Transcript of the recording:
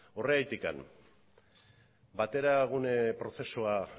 horregatik bateragune prozesua